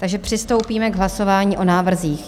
Takže přistoupíme k hlasování o návrzích.